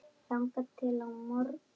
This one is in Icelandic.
þangað til á morgun?